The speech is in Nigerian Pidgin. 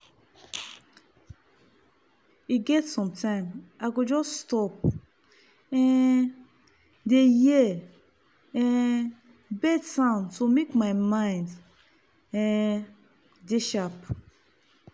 e get sometime i go just stop um dey hear um bird sound to make my mind um dey sharp.